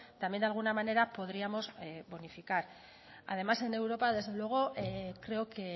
también de alguna manera podríamos bonificar además en europa desde luego creo que